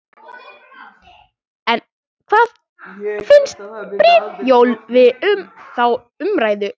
En hvað finnst Brynjólfi um þá umræðu?